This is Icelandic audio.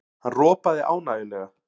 Hann ropaði ánægjulega.